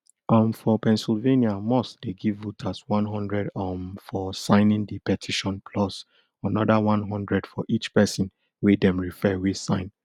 um for pennsylvania musk dey give voters one hundred um for signing di petition plus anoda one hundred for each pesin wey dem refer wey sign